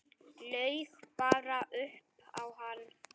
Laug bara upp á hann.